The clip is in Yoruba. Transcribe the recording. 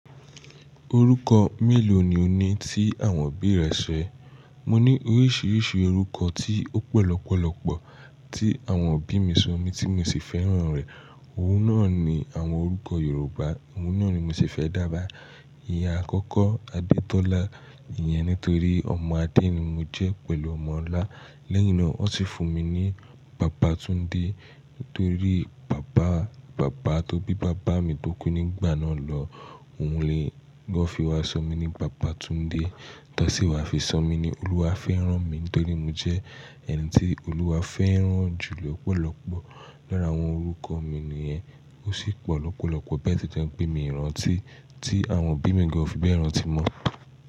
Orúkọ mélòó ni o ní tí àwọn òbí rẹ ṣẹ? Mo ní oríṣiríṣi orúkọ tí ó pọ̀ lọ́pọ̀lọ́pọ̀ tí àwọn òbí mi sọ mí tí mo sì fẹ́ràn rẹ̀. Ohun náà ni àwọn orúkọ Yorùbá, òun náà ni mo sì fẹ́ dá bá. Ìyá àkọ́kọ́ Adétọ́lá, ìyẹn nítorí ọmọ Adé ni mo jẹ́ pẹ̀lú ọmọ Ọlá. Lẹ́yìn náà, wọ́n sì fún mi ní Babatúndé torí bàbá, bàbá tó bí bàbá mi tó kú nígbà náà lọ. Ohun ló fi wá sọ mí ní Babatúndé. Tọ́sí wà fi sọ mí ní Olúwàfẹ́ránmi nítorí mo jẹ́ ẹni tí Olúwa fẹ́ rán jù lọ́pọ̀lọ́pọ̀. Lára àwọn orúkọ mi nìyẹn, ó sì pọ̀ lọ́pọ̀lọ́pọ̀ bẹ̀ tí jẹ́ pé mí rán tí, tí àwọn òbí mi gan ò fi bẹ́ẹ̀ rán tí mọ́.